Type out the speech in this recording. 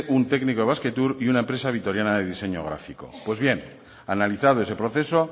un técnico de basquetour y una empresa vitoriana de diseño gráfico pues bien analizado ese proceso